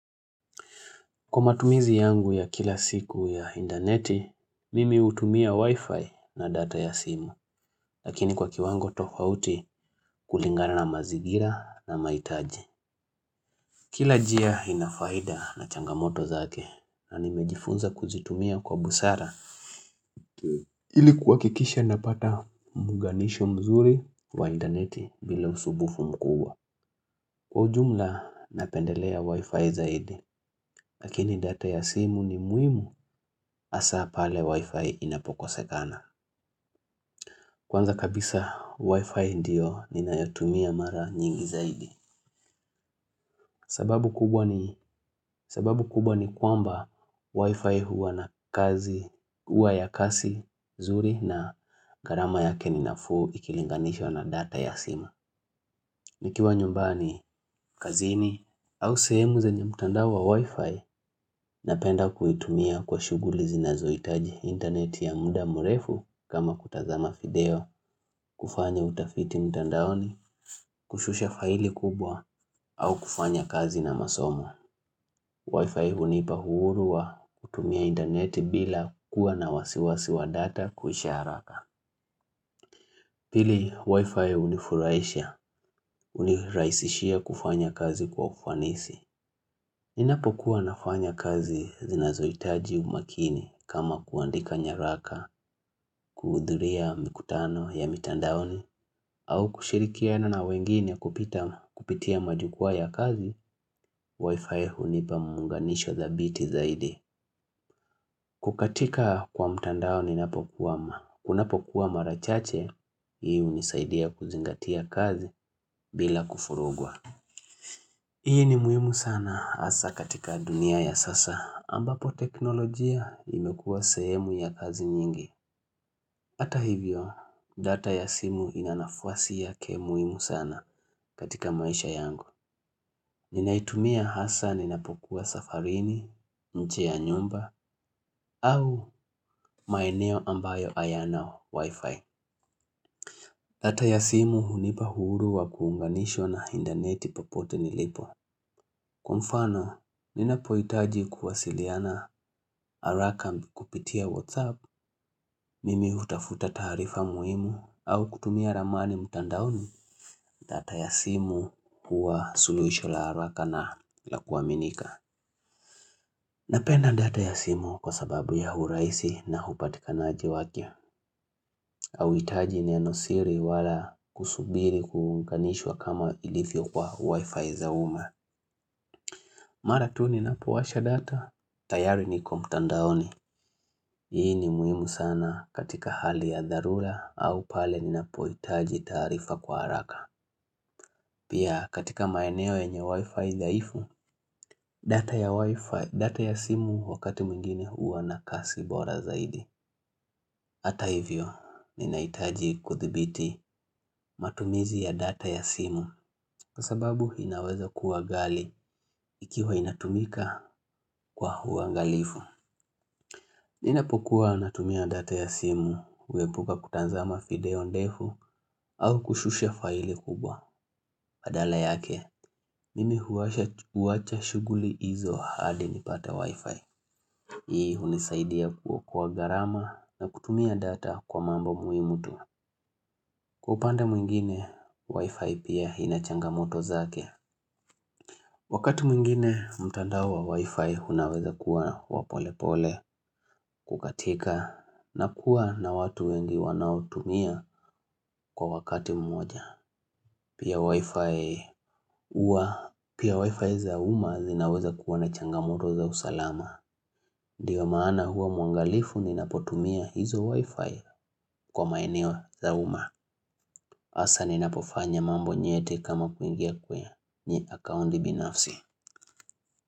Kwa matumizi yangu ya kila siku ya indaneti, mimi hutumia wi-fi na data ya simu, lakini kwa kiwango tofauti kulingana na mazigira na maitaji. Kila jia inafaida na changamoto zake na nimejifunza kuzitumia kwa busara. Ili kua kikisha napata muunganisho mzuri wa indaneti bila usubufu mkuwa. Kwa ujumla napendelea wi-fi zaidi lakini data ya simu ni muhimu hasa pale Wi-Fi inapokosekana. Kwanza kabisa, Wi-Fi ndio ninayotumia mara nyingi zaidi. Sababu kubwa ni kwamba Wi-Fi huwa na kazi, huwa ya kasi, zuri na gharama yake ni nafuu ikilinganishwa na data ya simu nikiwa nyumbani, kazini au sehemu zenye mtandao wa wi-fi napenda kuitumia kwa shughuli zinazoitaji internet ya muda mrefu kama kutazama video kufanya utafiti mtandaoni, kushusha faili kubwa au kufanya kazi na masomo. Wi-fi hunipa uhuru wa kutumia interneti bila kuwa na wasiwasi wa data kuisharaka. Pili, wi-fi unifuraisha, uniraisishia kufanya kazi kwa ufanisi. Ninapokua nafanya kazi zinazoitaji umakini kama kuandika nyaraka, kuhudhuria mikutano ya mtandaoni, au kushirikiana na wengine kupita kupitia majukwa ya kazi, wifi hunipa muunganisho dhabiti zaidi. Kukatika kwa mtandao ninapokwam unapokua marachache, hii hunisaidia kuzingatia kazi bila kufurugwa. Hii ni muhimu sana hasa katika dunia ya sasa ambapo teknolojia imekua sehemu ya kazi nyingi. Ata hivyo data ya simu inanafuasi ya kemuhimu sana katika maisha yangu. Ninaitumia hasa ninapokuwa safarini, nje ya nyumba au maeneo ambayo hayana wifi. Data ya simu hunipa uhuru wa kuunganishwa na indaneti popote nilipo. Kwa mfano, ninapoitaji kuwasiliana harakam kupitia Whatsapp, mimi hutafuta taarifa muhimu, au kutumia ramani mtandaoni data ya simu huwa suluhisho la haraka na la kuaminika. Napenda data ya simu kwa sababu ya uraisi na hupatikanaji wake, auhitaji neno siri wala kusubiri kuunganishwa kama ilifyo kwa wifi za umma. Mara tu ninapowasha data, tayari niko mtandaoni Hii ni muhimu sana katika hali ya dharura au pale ninapoitaji taarifa kwa haraka Pia katika maeneo yenye wifi dhaifu, data ya wifi, data ya simu wakati mwingine huwa na kasi bora zaidi Hata hivyo, ninaitaji kuthibiti matumizi ya data ya simu Kwa sababu, inaweza kuwa ghali ikiwa inatumika kwa uangalifu Ninapokua natumia data ya simu, huepuka kutazama video ndefu, au kushusha faili kubwa. Adala yake, mimi huasha huacha shughuli izo adi nipate wifi. Hii hunisaidia kuokoa gharama na kutumia data kwa mambo muhimu tu. Kwa upande mwingine, wifi pia inachanga moto zake. Wakati mwingine mtandao wa wi-fi unaweza kua wapolepole kukatika na kuwa na watu wengi wanaotumia kwa wakati mmoja. Pia wi-fi uwa, pia wi-fi za umma zinaweza kuwa na changamoto za usalama. Ndio maana hua mwangalifu ninapotumia hizo wi-fi kwa maeneo za umma. Asa ninapofanya mambo nyete kama kuingia kwe nye akaundi binafsi.